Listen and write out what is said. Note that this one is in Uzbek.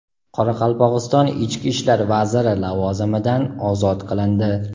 Qoraqalpog‘iston ichki ishlar vaziri lavozimidan ozod qilindi.